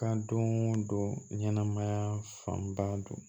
Ka don o don ɲɛnɛmaya fanba don